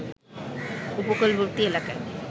উপকূলবর্তী এলাকায়